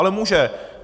Ale může.